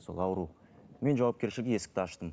сол ауру мен жауапкершілігі есікті аштым